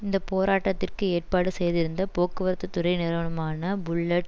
இந்த போராட்டத்திற்கு ஏற்பாடு செய்திருந்த போக்குவரத்து துறை நிறுவனமான புல்லட்